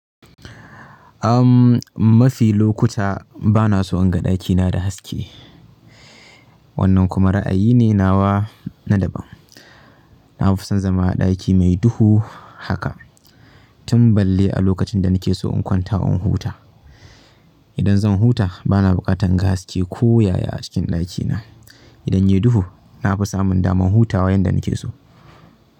Umm, mafi lokuta bana so in ga ɗakina da haske. Wannan kuma ra'ayi ne nawa na daban. Na fi son zama a ɗaki mai duhu haka. Tun balle a lokacin da nake so in kwanta, in huta. Idan zan huta bana buƙatar in ga haske ko yaya a cikin ɗakina. Idan ya yi duhu na fi samun damar hutawa yanda nake so.